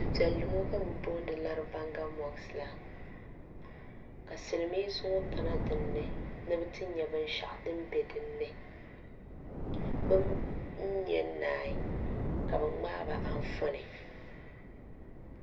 du' piɛlli ŋɔ ka bɛ booni laribaŋa mosiki la ka silimiinsi ŋɔ kana din ni ni bɛ ti nya binshɛɣu din be din ni bɛ nya n-naagi la bɛ ŋmaai ba anfooni.